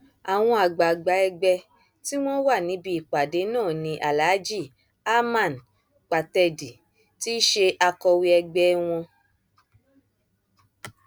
àwọn àgbààgbà ẹgbẹ tí wọn wà níbi ìpàdé náà ni aláàjì hamann pàtẹdì ti ṣe akọwé ẹgbẹ wọn